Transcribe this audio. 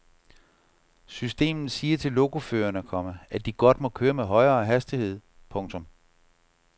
Systemet siger til lokoførerne, komma at de godt må køre med højere hastighed. punktum